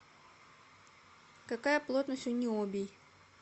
какая плотность у ниобий